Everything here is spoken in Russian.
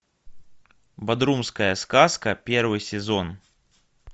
бодрумская сказка первый сезон